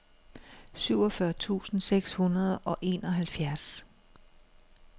syvogfyrre tusind seks hundrede og enoghalvfjerds